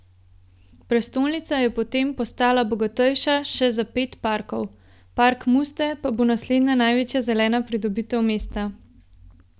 Prestolnica je po tem postala bogatejša še za pet parkov, Park Muste pa bo naslednja večja zelena pridobitev mesta.